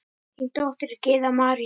Þín dóttir, Gyða María.